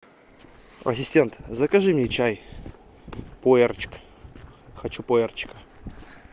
ассистент закажи мне чай пуэрчик хочу пуэрчика